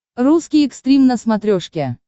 русский экстрим на смотрешке